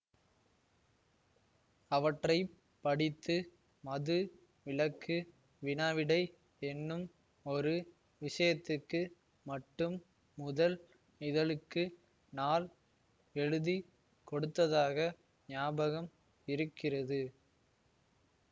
அவற்றை படித்து மது விலக்கு வினாவிடை என்னும் ஒரு விஷயத்துக்கு மட்டும் முதல் இதழுக்கு நான் எழுதி கொடுத்ததாக ஞாபகம் இருக்கிறது